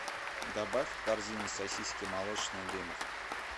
добавь в корзину сосиски молочные дымов